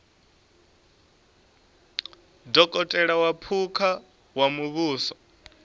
dokotela wa phukha wa muvhuso